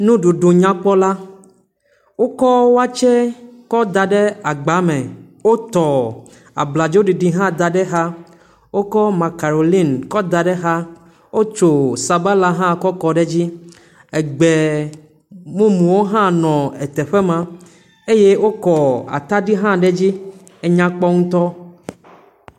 Nuɖuɖu nyakpɔ la, wokɔ watse kɔdaɖe agba me. Wotɔ abladzoɖiɖi hã da ɖe xa, wokɔ makarolin kɔ da ɖe xa, wotso sabala hã kɔ kɔ ɖe dzi, egbe mumuwo hã nɔ eteƒe ma eye wokɔ atadi hã ɖe dzi, enyakpɔ ŋutɔ.